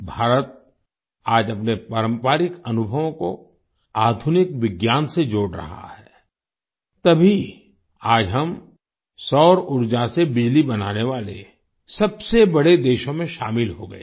भारत आज अपने पारंपरिक अनुभवों को आधुनिक विज्ञान से जोड़ रहा है तभी आज हम सौर ऊर्जा से बिजली बनाने वाले सबसे बड़े देशों में शामिल हो गए हैं